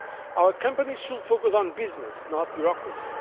Our companies should focus on business, not bureaucracy.